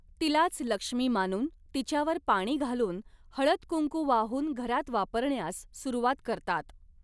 तिलाच लक्ष्मी मानून तिच्यावर पाणी घालून हळद कुंकू वाहून घरात वापरण्यास सुरूवात करतात.